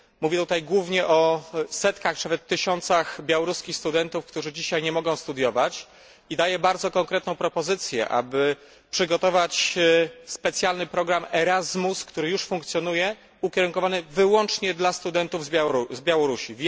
Mówię tutaj głównie o setkach, czy nawet tysiącach białoruskich studentów, którzy dzisiaj nie mogą studiować i daję bardzo konkretną propozycję, aby przygotować specjalny program Erasmus, który już funkcjonuje, ukierunkowany wyłącznie dla studentów z Białorusi.